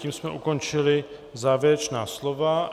Tím jsme ukončili závěrečná slova.